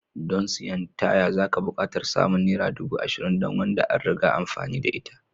Don siyan taya zaka buƙatar samun Naira ɗubu arba'in don wanda an riga amfani da ita